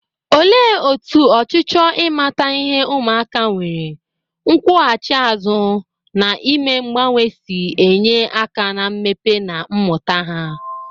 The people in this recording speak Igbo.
Olee otú ọchịchọ ịmata ihe ụmụaka nwere, nkwụghachi azụ, na ime mgbanwe si enye aka na mmepe na mmụta ha?